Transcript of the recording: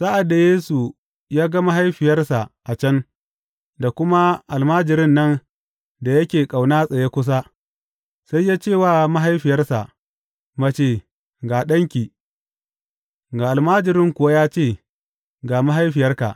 Sa’ad da Yesu ya ga mahaifiyarsa a can, da kuma almajirin nan da yake ƙauna tsaye kusa, sai ya ce wa mahaifiyarsa, Mace, ga ɗanki, ga almajirin kuwa ya ce, Ga mahaifiyarka.